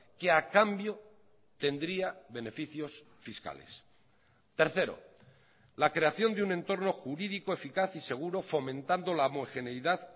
que a cambio tendría beneficios fiscales tercero la creación de un entorno jurídico eficaz y seguro fomentando la homogeneidad